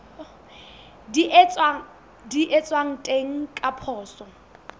di etswang teng ka poso